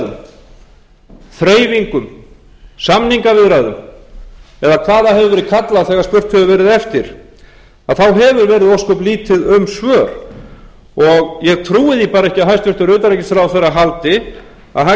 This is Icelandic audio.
viðræðum þreifingum samningaviðræðum eða hvað það hefur verið kallað þegar spurt hefur verið eftir að þá hefur verið ósköp lítið um svör ég trúin því bara ekki að hæstvirtur utanríkisráðherra haldi að hægt sé